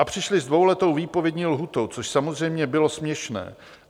A přišli s dvouletou výpovědní lhůtou, což samozřejmě bylo směšné.